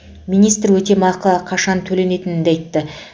министр өтемақы қашан төленетінін де айтты